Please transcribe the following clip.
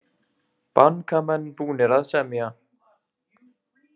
Bankamenn búnir að semja